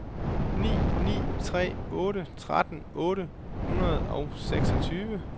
ni ni tre otte tretten otte hundrede og seksogtyve